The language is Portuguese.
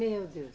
Meu Deus.